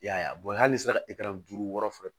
I y'a ye a hali ni sera duuru wɔɔrɔ